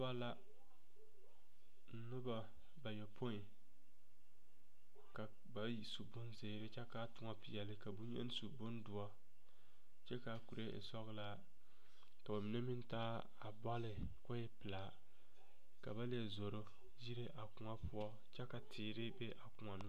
'Noba la noba bayopoi ka bayi su bonzeere kyɛ ka a toɔ peɛle ka boŋyeni su bondoɔre kyɛ ka a kuree e sɔglaa ka ba mine meŋ taa bɔle k'o e pelaa ka ba leɛ zoro yire a kõɔ poɔ kyɛ ka teere be a kõɔ noɔre.